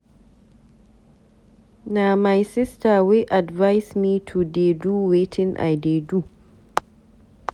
Na my sister wey advice me to dey do wetin I dey do.